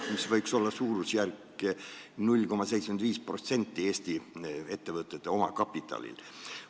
See võiks olla suurusjärgus 0,75% Eesti ettevõtete omakapitalist.